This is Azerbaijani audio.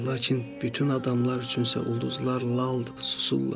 Lakin bütün adamlar üçünsə ulduzlar laldır, susurlar.